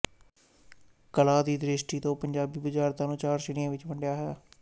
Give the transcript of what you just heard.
ਕਲਾ ਦੀ ਦ੍ਰਿਸ਼ਟੀ ਤੋਂ ਪੰਜਾਬੀ ਬੁਝਾਰਤਾਂ ਨੂੰ ਚਾਰ ਸ਼੍ਰੇਣੀਆਂ ਵਿਚ ਵੰਡਿਆ ਹੈ